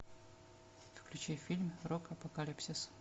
включи фильм рок апокалипсис